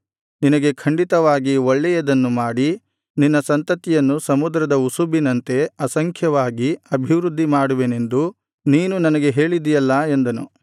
ನಿನಗೆ ಖಂಡಿತವಾಗಿ ಒಳ್ಳೆಯದನ್ನು ಮಾಡಿ ನಿನ್ನ ಸಂತತಿಯನ್ನು ಸಮುದ್ರದ ಉಸುಬಿನಂತೆ ಅಸಂಖ್ಯವಾಗಿ ಅಭಿವೃದ್ಧಿ ಮಾಡುವೆನೆಂದು ನೀನು ನನಗೆ ಹೇಳಿದ್ದೀಯಲ್ಲಾ ಎಂದನು